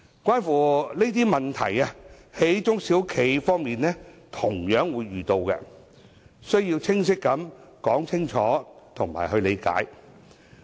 上述問題，中小企方面同樣會遇到，因此，須有清晰說明和理解。